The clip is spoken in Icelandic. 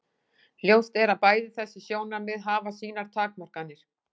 Ljóst er að bæði þessi sjónarmið hafa sínar takmarkanir.